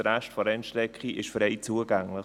Der Rest der Rennstrecke ist frei zugänglich.